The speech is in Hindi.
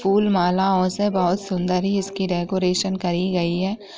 फूल मालाओं से बहोत सुंदर ही इसकी डेकरैशन करी गई हैं ।